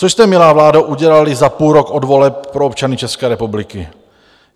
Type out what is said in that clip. Co jste, milá vládo, udělali za půl rok od voleb pro občany České republiky?